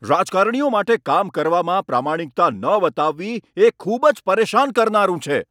રાજકારણીઓ માટે કામ કરવામાં પ્રામાણિકતા ન બતાવવી એ ખૂબ જ પરેશાન કરનારું છે